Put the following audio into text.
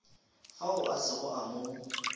fao a sego a mo